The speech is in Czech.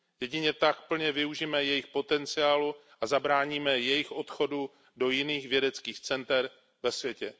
Jedině tak plně využijeme jejich potenciálu a zabráníme jejich odchodu do jiných vědeckých center ve světě.